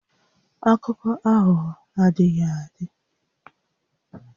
Akụkọ aghụghọ adịghị adị